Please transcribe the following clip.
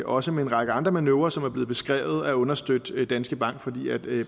også med en række andre manøvrer som er blevet beskrevet at understøtte danske bank fordi